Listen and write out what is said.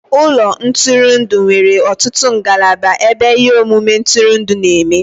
Ụlọ ntụrụndụ nwere ọtụtụ ngalaba ebe ihe omume ntụrụndụ na-eme